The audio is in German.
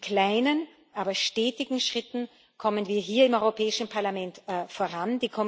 Mit kleinen, aber stetigen Schritten kommen wir hier im Europäischen Parlament voran.